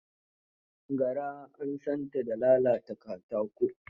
Garaan san ta da lalata katako.